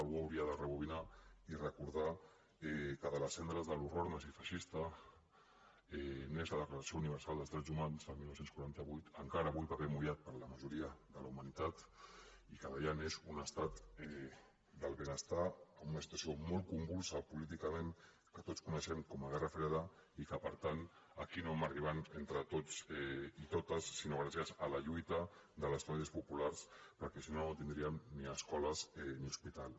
algú hauria de rebobinar i recordar que de les cendres de l’horror nazi i feixista neix la declaració universal dels drets humans el dinou quaranta vuit encara avui paper mullat per a la majoria de la humanitat i que d’allà neix un estat del benestar en una situació molt convulsa políticament que tots coneixem com a guerra freda i que per tant aquí no hem arribat entre tots i totes sinó gràcies a la lluita de les classes populars perquè si no no tindríem ni escoles ni hospitals